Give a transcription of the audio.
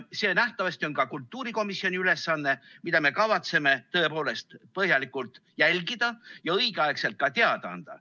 See on nähtavasti ka kultuurikomisjoni ülesanne, seda me kavatseme tõepoolest põhjalikult jälgida ja õigeaegselt ka teada anda.